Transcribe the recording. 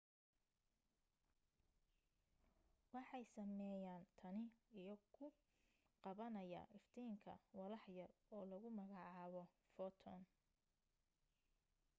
waxay sameeyaan tani iyo ku qabanaya iftiinka walax yar oo lagu magacaabo footoon